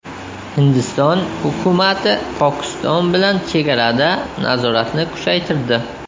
Hindiston hukumati Pokiston bilan chegarada nazoratni kuchaytirdi.